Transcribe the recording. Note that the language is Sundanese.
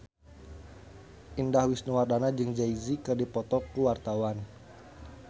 Indah Wisnuwardana jeung Jay Z keur dipoto ku wartawan